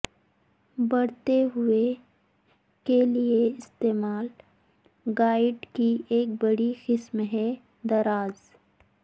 بڑھتے ہوئے کے لئے استعمال گائیڈ کی ایک بڑی قسم ہے دراز